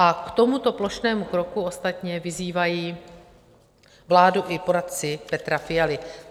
A k tomuto plošnému kroku ostatně vyzývají vládu i poradci Petra Fialy.